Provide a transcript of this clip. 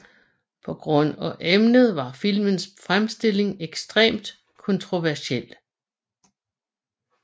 På grund af emnet var filmens fremstilling ekstremt kontroversiel